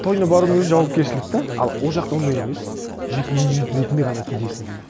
тойына барудың өзі жауапкершілік те ал ол жақта ондай емес жеке индивид ретінде ғана кетесің